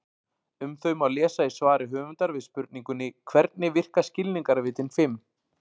Um þau má lesa í svari höfundar við spurningunni Hvernig virka skilningarvitin fimm?